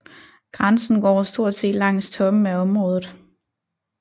Grænsen går stort set langs toppen af området